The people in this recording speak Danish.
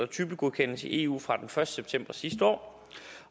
typegodkendt i eu fra den første september sidste år